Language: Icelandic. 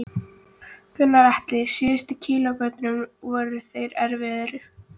Gunnar Atli: Síðustu kílómetrarnir, voru þeir erfiðir?